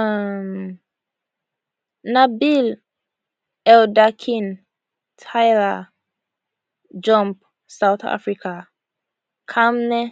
um nabil elderkin tyla jump south africa kmane